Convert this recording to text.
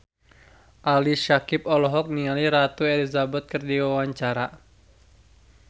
Ali Syakieb olohok ningali Ratu Elizabeth keur diwawancara